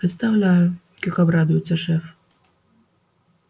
представляю как обрадуется шеф